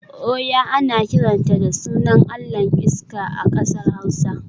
Oya ana kiranta da sunan allahn iska a kasar hausa